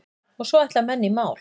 Og svo ætla menn í mál.